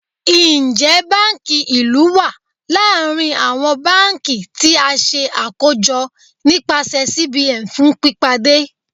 Njẹ banki ilu wa larin awọn banki ti a ṣe akojọ nipasẹ CBN fun pipade?